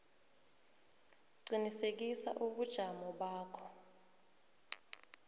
qinisekisa ubujamo bakho